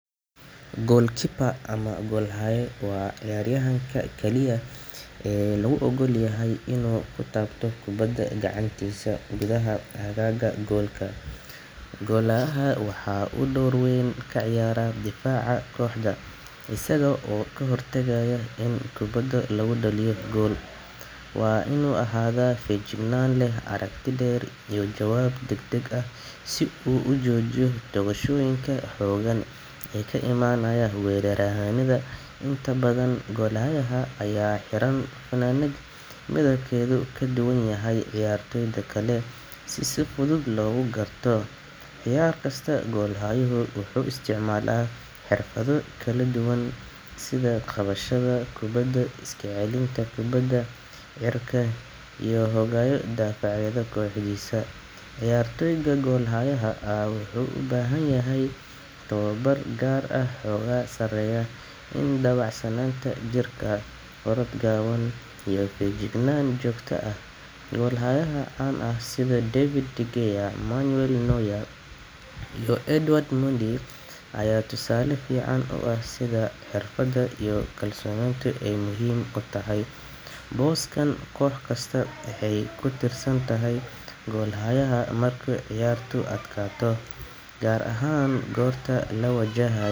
Goal keeper ama goal haye wa ciyar yahanka kaliya ee loogolyahay inu kutato kubada ganactisa, gudaha agaga goalka golhayaha waxa uu door weyn kaciyara difaca kohda isaga oo kahortagaya in kubada lagudaliyo gooal wa inu ahada fayajignan leh aragti leh iyo jwab dagdag ah si uu ujojiyo daqashoyinka hogaan ee kaimanaya inta badan goalhay aya hiraan fanadad midabkedu kaduwan yahay ciyartoyda kale si sifudud logikarto ciyar kasta goal hayu wuxu isticmala hirfado kaladuwan sidha qabadhada kubada iskacelinta kubada cirka iyo hogayo difacyo gudihisa, ciyartoyda goalhayaha ah wuxu ubahanyahay tawabar gaar ah wuxoga sareyo inu dawacsananta jirka orad gawan iyo fayajignana jogta ah, golayahaya can ah sidha devid manua noya iuo edward mundi aya tusale fican u aj sidha hirfada iyo kalsoninta ay muxiim u tahay, boska kog kasta waxay kutirdantahay goalhaya marku ciyartu adqato gaar ahan lawajahayo.